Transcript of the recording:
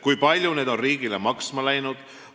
Kui palju need on riigile maksma läinud?